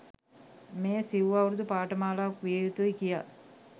මෙය සිව් අවුරුදු පාඨමාලාවක් විය යුතුය කියා